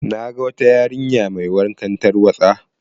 Na ga wata yarinya mai wankan tarwaɗa.